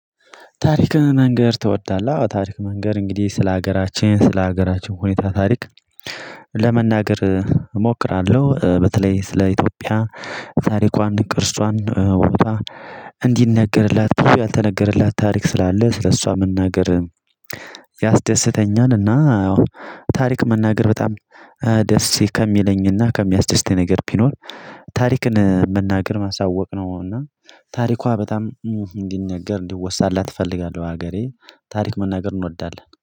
ታሪክን መንገር ትወዳለህ? ታሪክ መንገር እንግዲህ ስለ ሀገራችን ስለ ሀገራችን ሁኔታ ታሪክ ለመናገር እሞክራለሁ። በተለይ ስለ ኢትዮጵያ ታሪኳን እንቅርሷን ውበቷ እንዲነገርላት ብዙ ያልተነገረላት ታሪክ ስላለ ስለእሷ መናገር ያስደስተኛልና። ታሪክ መናገር በጣም ደስ ከሚለኝና ከሚያስደስተኝ ነገር ቢኖር ታሪክን መናገር ማሳወቅ ነው። እና ታሪኳ በጣም እንዲነገር እንዲወሳላት እፈልጋለሁ። ሀገሬ ታሪክ መናገር እንወዳለን